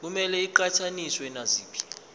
kumele iqhathaniswe naziphi